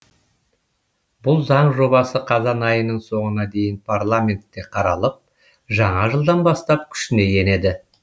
бұл заң жобасы қазан айының соңына дейін парламентте қаралып жаңа жылдан бастап күшіне енеді